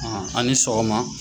a' ni sɔgɔma.